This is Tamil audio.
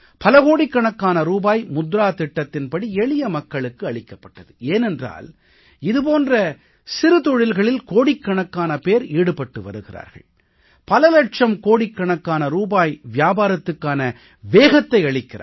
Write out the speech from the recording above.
பல கோடிக்கணக்கான ரூபாய் முத்ரா திட்டத்தின் படி எளிய மக்களுக்கு அளிக்கப்பட்டது ஏனென்றால் இது போன்ற சிறு தொழில்களில் கோடிக்கணக்கான பேர் ஈடுபட்டு வருகிறார்கள் பல இலட்சம் கோடிக்கணக்கான ரூபாய் வியாபாரத்துக்கான வேகத்தை அளிக்கிறார்கள்